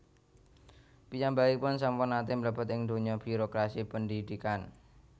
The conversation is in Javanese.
Piyambakipun sampun nate mlebet ing dunya birokrasi pendhidhikan